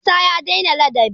Isah ya dai na ladabi